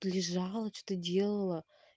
лежала что делала